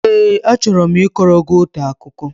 Ee, achọrọ m ịkọrọ gị otu akụkọ